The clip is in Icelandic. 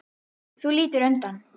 Þú lítur undan.